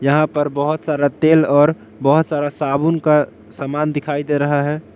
यहां पर बहोत सारा तेल और बहोत सारा साबुन का सामान दिखाई दे रहा है।